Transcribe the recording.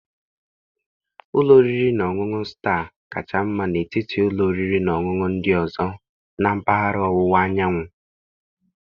Ụlọ oriri na ọṅụṅụ Staa kacha mma n'etiti ụlọ oriri na ọṅụṅụ ndị ọzọ na mpaghara ọwụwa anyanwụ